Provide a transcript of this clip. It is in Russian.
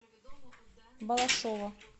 балашова